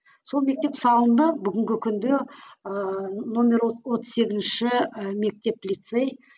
сол мектеп салынды бүгінгі күнде ыыы нөмір отыз сегізінші і мектеп лицей